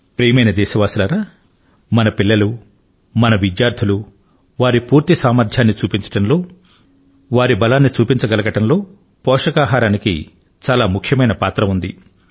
ప్రియమైన దేశ వాసులారా మన పిల్లలు మన విద్యార్థులు వారి పూర్తి సామర్థ్యాన్ని చూపించడంలో వారి బలాన్ని చూపించగలగడంలో పోషకాహారానికి చాలా ముఖ్యమైన పాత్ర ఉంది